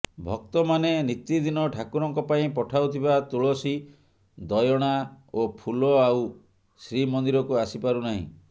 ଭକ୍ତମାନେ ନିତିଦିନ ଠାକୁରଙ୍କ ପାଇଁ ପଠାଉଥିବା ତୁଳସୀ ଦୟଣା ଓ ଫୁଲ ଆଉ ଶ୍ରୀମନ୍ଦିରକୁ ଆସି ପାରୁନାହିଁ